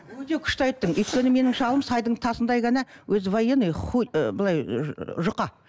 өте күшті айттың өйткені менің шалым сайдың тасындай ғана өзі военный былай жұқа